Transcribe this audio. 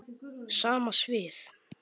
Sama svið.